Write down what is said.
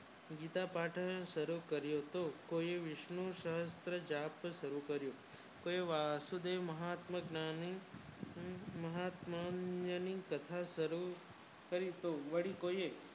જૂતા બાંધવાનું શરુ કર્યું કે કોઈએ વિષનું સહસ્ર્ત્ર જપ્ત કરી કોયે વાસુદેવ મહાત્માજ્ઞાની કથા શરુ લેખ કરી કે રીતે